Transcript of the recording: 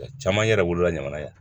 Caman yɛrɛ wolola jamana ye